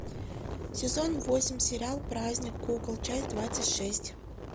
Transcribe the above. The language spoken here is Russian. сезон восемь сериал праздник кукол часть двадцать шесть